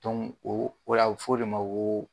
o o la a bi fɔ de ma ko.